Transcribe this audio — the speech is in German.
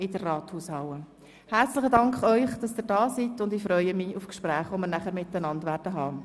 Ich danke unseren Gästen für ihr Kommen und freue mich auf die anschliessenden Gespräche.